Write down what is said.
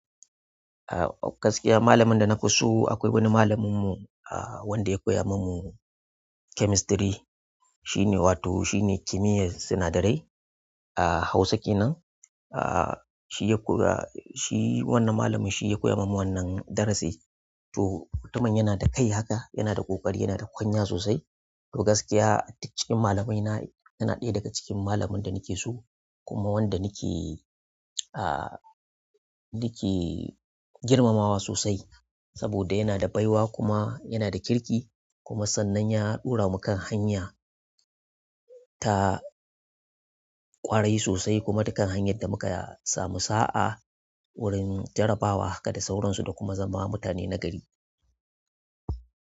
A gaskiya malamin da na fi so akwai wani malaminmu wanda ya koya min chemistry wato shine kimiyyar sinadarai a Hausa kenan. Shi wannan malamin shi ya koya min wannan darasi. To mutumin yana da kai haka yana da ƙoƙari yana da kwanya sosai. To gaskiya duk cikin malamaina yana ɗaya daga cikin malamin da nake so kuma wanda nake girmamawa sosai saboda yana da baiwa kuma yana da kirki kuma sannan ya ɗaura mu kan hanya ta ƙwarai sosai kuma dukan hanyar da muka samu sa'a wurin jarabawa haka da sauransu da kuma zama mutane nagari.